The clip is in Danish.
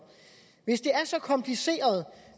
hvis det er så kompliceret